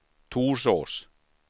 Torsås